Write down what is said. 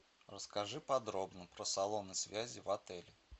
расскажи подробно про салоны связи в отеле